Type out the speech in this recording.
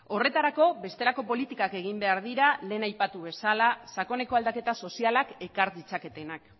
horretarako bestelako politikak egin behar dira lehen aipatu bezala sakoneko aldaketa sozialak ekar ditzaketenak